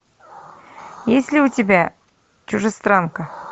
есть ли у тебя чужестранка